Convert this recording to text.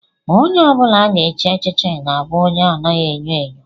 Onye ọ bụla a ga-echi echichi ga-abụ onye anaghị enyo enyo